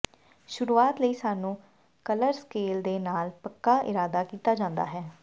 ਸ਼ੁਰੂਆਤ ਲਈ ਸਾਨੂੰ ਕਲਰ ਸਕੇਲ ਦੇ ਨਾਲ ਪੱਕਾ ਇਰਾਦਾ ਕੀਤਾ ਜਾਂਦਾ ਹੈ